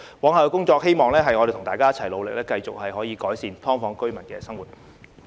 我希望大家一起努力，往後繼續可以改善"劏房"居民的生活。